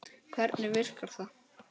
Hvernig virkar það?